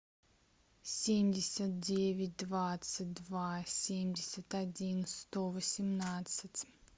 семьдесят девять двадцать два семьдесят один сто восемнадцать